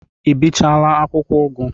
Ị bichaala akwụkwọ ugu?